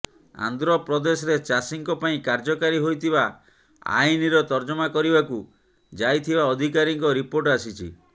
ଆନ୍ଧ୍ରପ୍ରଦେଶରେ ଚାଷୀଙ୍କ ପାଇଁ କାର୍ଯ୍ୟକାରୀ ହୋଇଥିବା ଆଇନ୍ର ତର୍ଜମା କରିବାକୁ ଯାଇଥିବା ଅଧିକାରୀଙ୍କ ରିପୋର୍ଟ ଆସିଛି